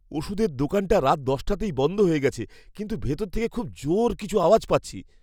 ওষুধের দোকানটা রাত দশটাতেই বন্ধ হয়ে গেছে, কিন্তু ভেতর থেকে খুব জোর কিছু আওয়াজ পাচ্ছি।